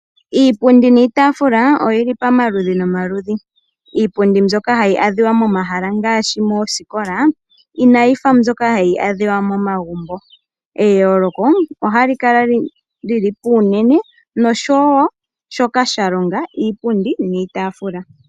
Iipundi niitaafula oyili pamaludhi nomaludhi. Iipundi mbyoka hayi adhika momahala ngaashi moosikola inayifa mbyoka hayi adhika momagumbo. Eyooloko ohali kala lili puunene noshowo shoka sha longa iipundi niitaafula.